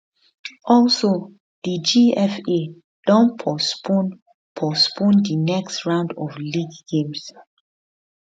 also di gfa don postpone postpone di next round of league games